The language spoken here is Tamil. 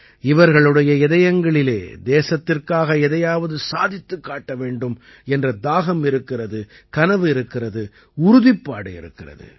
இவர்களுடைய இதயங்களில் தேசத்திற்காக எதையாவது சாதித்துக் காட்ட வேண்டும் என்ற தாகம் இருக்கிறது கனவு இருக்கிறது உறுதிப்பாடு இருக்கிறது